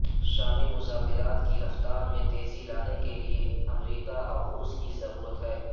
شامی مذاکرات کی رفتار میں تیزی لانے کے لئے امریکہ اور روس کی ضرورت ہے